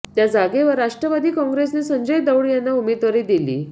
त्या जागेवर राष्ट्रवादी काॅंग्रेसने संजय दौंड यांना उमेदवारी दिली